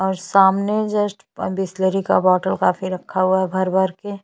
और सामने जस्ट बिसलरी का बॉटल काफी रखा हुआ है भर-भर के--